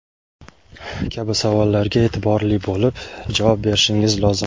kabi savollarga e’tiborli bo‘lib javob berishingiz lozim.